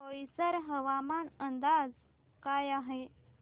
बोईसर हवामान अंदाज काय आहे